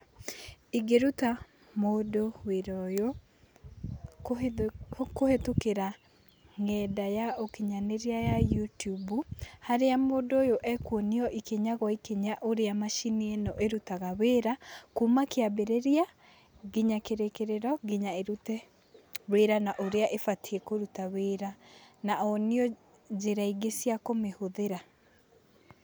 Ingĩruta mũndũ wĩra ũyũ kũhĩtũ- kũhĩtũkĩra ng'enda ya ũkinyanĩria ya YouTube harĩa mũndũ ũyũ ekuonio ikinya gwa ikinya ũrĩa macini ĩno ĩrutaga wĩra kuma kĩambĩrĩria nginya kĩrĩkĩrĩro, nginya ĩrute wĩra na ũrĩa ĩbatiĩ kũruta wĩra na onio njĩra ingĩ cia kũmĩhũthĩra.